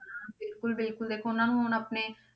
ਬਿਲਕੁਲ ਬਿਲਕੁਲ ਦੇਖ ਉਹਨਾਂ ਨੂੰ ਹੁਣ ਆਪਣੇ,